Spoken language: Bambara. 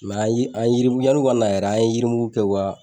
an yi yirimugu , yanu ka na yɛrɛ an ye yirimugu kɛ u ka